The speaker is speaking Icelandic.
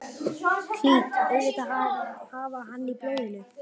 Hlýt auðvitað að hafa hann í blóðinu.